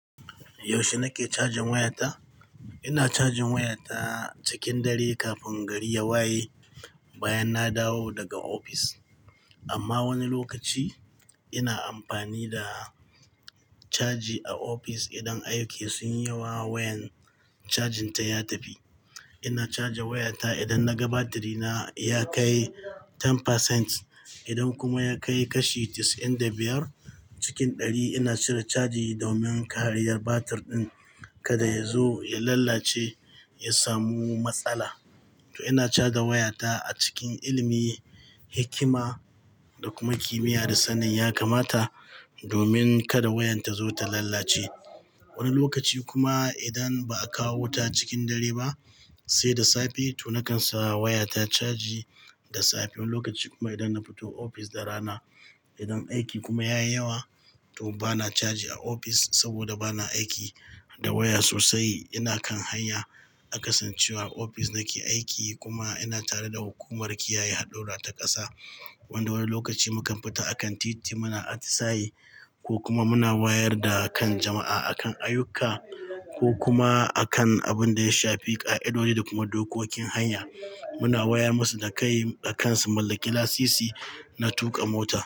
Yaushe nake cajin wayata? Ina cajin wayata cikin dare kafin gari ya waye bayan na dawo daga ofis. Amma wani lokaci ina amfani da caji a ofis idan aiki sunyi yawa wayan cajin ta ya tafi. Ina caja wayata idan naga batiri na ya kai 10%. Idan kuma ya kai kashi 95 cikin 100 ina cire caji domin ƙariyar batir ɗin kada ya zo ya lalace ya samu matsala. To ina caja wayata a cikin ilimi, hikima da kuma kimiyya da sanin ya kamata domin kada wayan ta zo ta lalace. Wani lokaci kuma idan ba a kawo wuta cikin dare ba sai da safe to na kan sa wayata caji da safe. Wani lokaci kuma idan na fito ofis da rana idan aiki kuma yayi yawa to bana caji a ofis saboda bana aiki da waya sosai. Ina kan hanya a kasancewa a ofis nake aiki kuma ina tare da hukumar kiyaye haɗura ta ƙasa wanda wani lokaci mukan fita a kan titi muna atisaye ko kuma muna wayar da kan jama'a akan ayyuka ko kuma akan abun da ya shafi ƙa'idodi da kuma dokokin hanya. Muna wayar musu da kai a kan su mallaki lasisi na tuƙa mota.